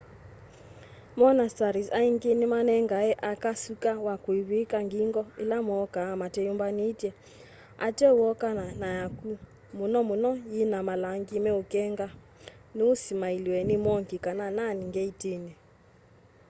monasteries aingi nimanengae aka suka wa kwivwika ngingo ila mooka mateyumbanitye ateo wooka na yaku muno muno yina malangi meukenga nuu simailiwa ni monk kana nun ngeitini